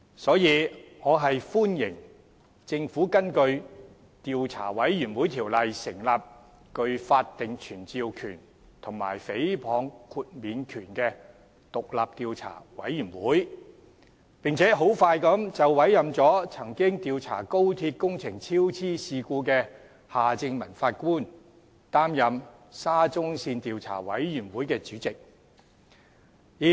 因此，我歡迎政府根據《調查委員會條例》成立具法定傳召權及誹謗豁免權的獨立調查委員會，並迅速委任曾經主持廣深港高鐵香港段工程超支事故調查的法官夏正民擔任沙中線調查委員會主席。